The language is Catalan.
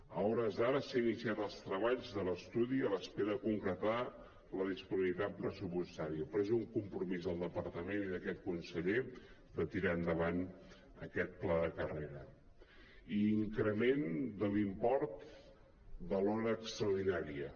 a hores d’ara s’han iniciat els treballs de l’estudi a l’espera de concretar la disponibilitat pressupostària però és un compromís del departament i d’aquest conseller de tirar endavant aquest pla de carrera i increment de l’import de l’hora extraordinària